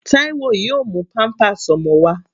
Taiwo yóò mú pampers ọmọ wá.